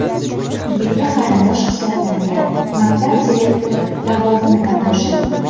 Yigitga qarindosh hisoblangan maktab direktori lavozimidan bo‘shatildi.